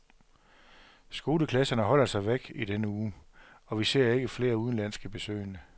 Skoleklasserne holder sig væk i denne uge, og vi ser ikke flere udenlandske besøgende.